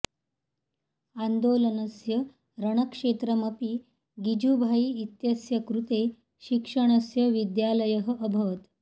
आन्दोलनस्य रणक्षेत्रमपि गिजुभाई इत्यस्य कृते शिक्षणस्य विद्यालयः अभवत्